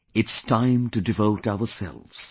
It's time to devote ourselves